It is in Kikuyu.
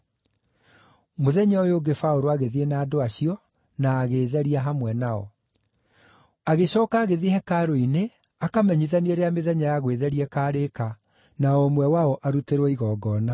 Mũthenya ũyũ ũngĩ Paũlũ agĩthiĩ na andũ acio, na agĩĩtheria hamwe nao. Agĩcooka agĩthiĩ hekarũ-inĩ akamenyithanie rĩrĩa mĩthenya ya gwĩtheria ĩkaarĩka, na o ũmwe wao arutĩrwo igongona.